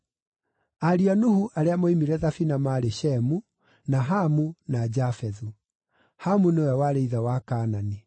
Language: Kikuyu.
Ariũ a Nuhu arĩa moimire thabina maarĩ Shemu, na Hamu na Jafethu. (Hamu nĩwe warĩ ithe wa Kaanani).